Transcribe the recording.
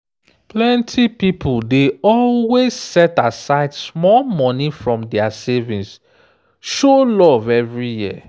plenty pipo dey always set aside small money from dia savings show love every year.